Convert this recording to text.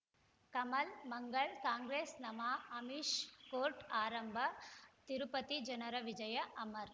ಕಮಲ್ ಮಂಗಳ್ ಕಾಂಗ್ರೆಸ್ ನಮಃ ಅಮಿಷ್ ಕೋರ್ಟ್ ಆರಂಭ ತಿರುಪತಿ ಜನರ ವಿಜಯ ಅಮರ್